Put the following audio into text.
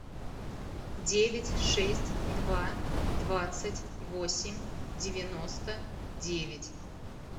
девять шесть два двадцать восемь девяносто девять